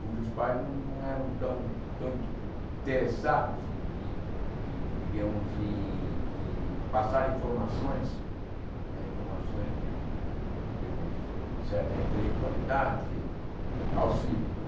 cujos pais não não eram tão tanto interessados em em em digamos em em passar informações né informações de digamos certa intelectualidade aos filhos né.